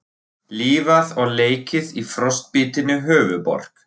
Lifað og leikið í frostbitinni höfuðborg